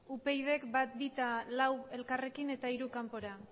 upydk bat bi eta lau elkarrekin eta hiru kanpora